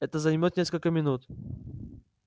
это займёт несколько минут